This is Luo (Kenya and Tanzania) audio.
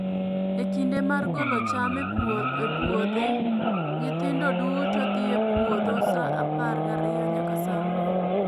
E kinde mar golo cham e puodhe, nyithindo duto dhi e puodho sa apar gariyo nyaka saa ang'uen